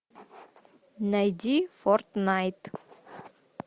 найди форт найт